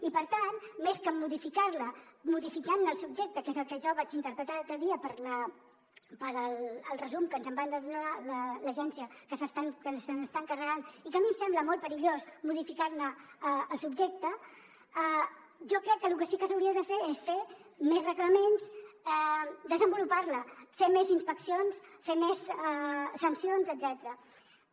i per tant més que modificar la modificant ne el subjecte que és el que jo vaig interpretar l’altre dia pel resum que ens en va donar l’agència que se n’està encarregant i que a mi em sembla molt perillós modificar ne el subjecte jo crec que lo que sí que s’hauria de fer és fer més reglaments desenvolupar la fer més inspeccions fer més sancions etcètera